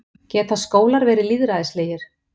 Geta skólar verið lýðræðislegir?